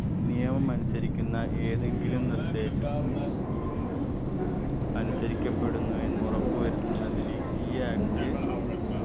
നിയമം അനുസരിക്കുന്ന ഏതെങ്കിലും നിർദേശം അനുസാഹാരിക്കപ്പെടുന്നു എന്ന് ഉറപ്പു വരുത്തുന്നതിന് ഈ act